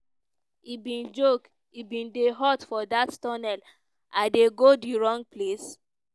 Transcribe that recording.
e bin joke: "e bin dey hot for dat tunnel i dey go di wrong place?"